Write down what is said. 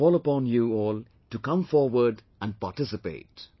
I call upon you all to come forward and participate